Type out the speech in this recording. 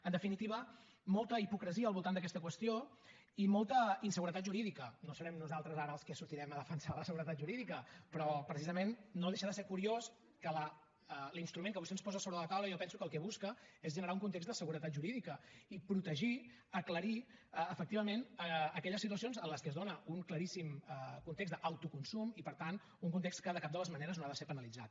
en definitiva molta hipocresia al voltant d’aquesta qüestió i molta inseguretat jurídica no serem nosaltres ara els que sortirem a defensar la seguretat jurídica però precisament no deixa de ser curiós que l’instrument que vostè ens posa sobre la taula jo penso que el que busca és generar un context de seguretat jurídica i protegir aclarir efectivament aquelles situacions en què es dóna un claríssim context d’autoconsum i per tant un context que de cap de les maneres no ha de ser penalitzat